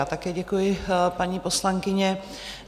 Já také děkuji, paní poslankyně.